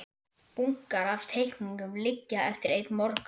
Bunkar af teikningum liggja eftir einn morgun.